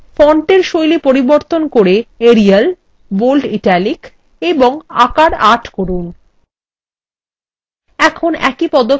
এবং ফন্টের style পরিবর্তন করে এরিয়াল bold italic এবং আকার ৮ করুন